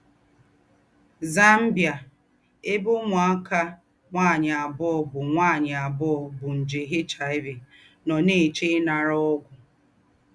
ZAMBIA — Èbè úmùákà nwányị àbùọ̀ bú nwányị àbùọ̀ bú njè HIV nọ̀ nà-èché ìnàrà ógwù.